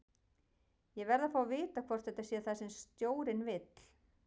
Ég verð að fá að vita hvort þetta sé það sem stjórinn vill?